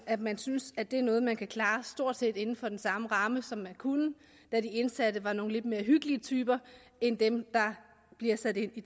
at man synes at det er noget man kan klare stort set inden for den samme ramme som man kunne da de indsatte var nogle lidt mere hyggelige typer end dem der bliver sat ind i